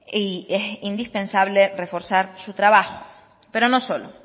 y es indispensable reforzar su trabajo pero no solo